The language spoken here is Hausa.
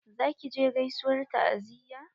Za ki je gaisuwar ta'aziyya?